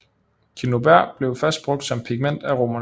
Cinnober blev først brugt som pigment af romerne